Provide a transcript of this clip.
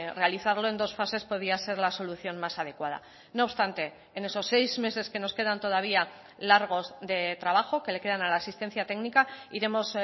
realizarlo en dos fases podía ser la solución más adecuada no obstante en esos seis meses que nos quedan todavía largos de trabajo que le quedan a la asistencia técnica iremos